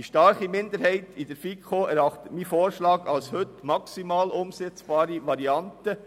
Die starke Minderheit in der FiKo erachtet meinen Vorschlag als die heute maximal umsetzbare Variante.